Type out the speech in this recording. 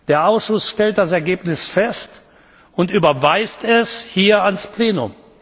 Der Ausschuss stellt das Ergebnis fest und überweist es hier an das Plenum.